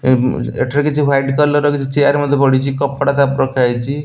ଏଁ ଏଠାରେ କିଛି white colour ର କିଛି ଚେୟାର ମଧ୍ୟ ପଡ଼ିଚି। କପଡ଼ା ତା ଓପରେ ରଖାହେଇଚି।